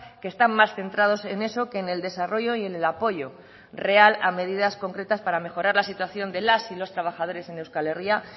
que están más centrados en eso que en el desarrollo y en el apoyo real a medidas concretas para mejorar la situación de las y los trabajadores en euskal herria